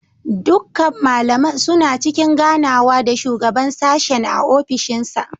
Dukkan malaman suna cikin ganawa da shugaban sashen a ofishinsa.